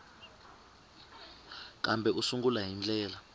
kambe u sungula hi ndlela